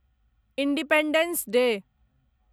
independence day